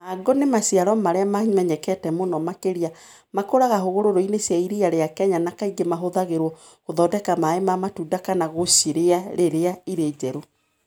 Mango nĩ maciaro marĩa mamenyekete mũno marĩa makũraga hũgũrũrũ-inĩ cia iria rĩa Kenya na kaingĩ mahũthagĩrũo gũthondeka maĩ ma matunda kana gũcirĩa rĩrĩa irĩ njerũ.